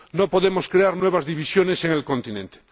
No podemos crear nuevas divisiones en el continente.